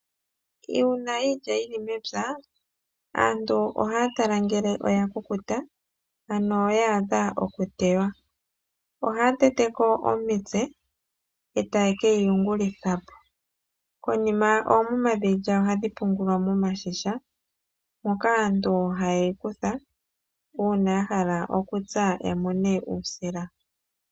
Uuna iilya yili mepya, aantu ohaya tala ngele oya kukuta ano ya adha okutewa. Ohaya tete ko omitse, etaye keyi yungulitha po. Konima oomuma dhiilya ohadhi pungulwa momashisha moka aantu haye yi kutha uuna ya hala okutsa ya mone uusila.